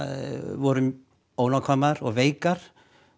voru ónákvæmar og veikar